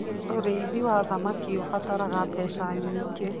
Ũrĩithi wa thamaki ũbataraga mbeca nyingĩ.